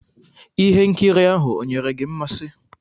Ihe nkiri ahụ onyere gị mmasị?